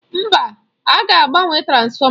Mba, aga agbanwe transfọma.